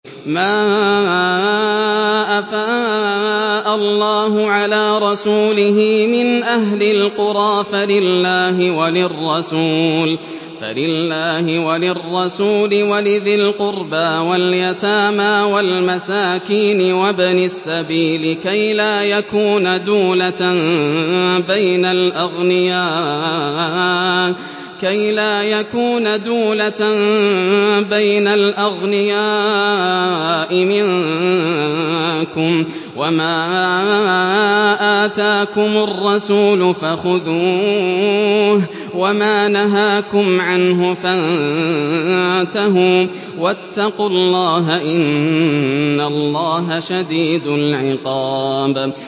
مَّا أَفَاءَ اللَّهُ عَلَىٰ رَسُولِهِ مِنْ أَهْلِ الْقُرَىٰ فَلِلَّهِ وَلِلرَّسُولِ وَلِذِي الْقُرْبَىٰ وَالْيَتَامَىٰ وَالْمَسَاكِينِ وَابْنِ السَّبِيلِ كَيْ لَا يَكُونَ دُولَةً بَيْنَ الْأَغْنِيَاءِ مِنكُمْ ۚ وَمَا آتَاكُمُ الرَّسُولُ فَخُذُوهُ وَمَا نَهَاكُمْ عَنْهُ فَانتَهُوا ۚ وَاتَّقُوا اللَّهَ ۖ إِنَّ اللَّهَ شَدِيدُ الْعِقَابِ